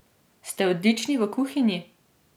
Ste odlični v kuhinji?